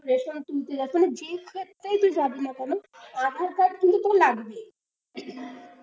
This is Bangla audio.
তুই ration তুলতে যাস, মানে যে ক্ষেত্রেই তুই যাবি না কেন aadhaar card কিন্তু তোর লাগবেই।